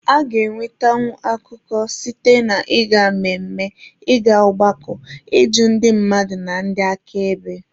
A ga-enwetanwu akụkọ site na ịga mmemme, ị ga ọgbakọ, ịjụ ndị mmadụ na ndị aka ebe wdg.